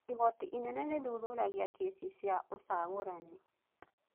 Igoti inene rĩthuthuragia kĩci cia ũcagũrani.